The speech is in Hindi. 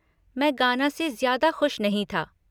मैं गाना से ज़्यादा खुश नहीं था।